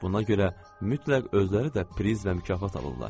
Buna görə mütləq özləri də priz və mükafat alırlar.